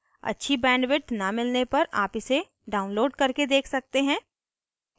अच्छी bandwidth न मिलने पर आप इसे download करके देख सकते हैं